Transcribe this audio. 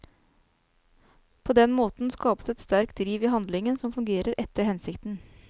På den måten skapes et sterkt driv i handlingen som fungerer etter hensikten.